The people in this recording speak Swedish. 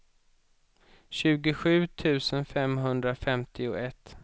tjugosju tusen femhundrafemtioett